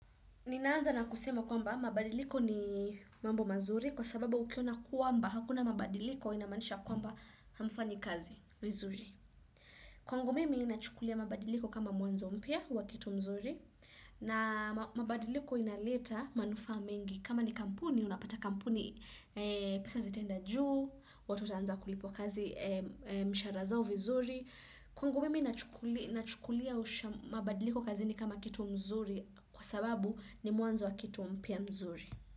Nina anza na kusema kwamba mabadiliko ni mambo mazuri kwa sababu ukiona kwamba hakuna mabadiliko inamaanisha kwamba hamfanyi kazi vizuri. Kwangu mimi ninachukulia mabadiliko kama mwanzo mpya wa kitu mzuri na mabadiliko inaleta manufaa mengi kama ni kampuni, unapata kampuni pesa zitaenda juu, watu wata anza kulipwa kazi mishahara zao vizuri. Kwangu mimi nachukulia mabadiliko kazini kama kitu mzuri kwa sababu ni mwanzo wa kitu mpya mzuri.